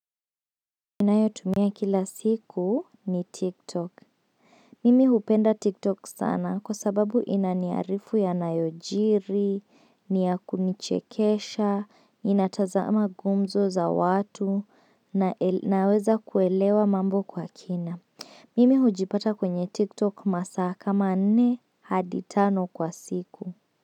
Ninayotumia kila siku ni tiktok. Mimi hupenda tiktok sana kwa sababu inaniarifu yanayojiri, ni ya kunichekesha, inatazama gumzo za watu, naweza kuelewa mambo kwa kina. Mimi hujipata kwenye tiktok masaa kama nne hadi tano kwa siku.